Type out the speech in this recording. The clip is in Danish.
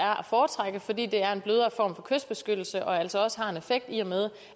er at foretrække fordi det er en blødere form for kystbeskyttelse og altså også har en effekt i og med